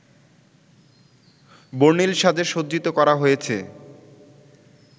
বর্ণিল সাজে সজ্জিত করা হয়েছে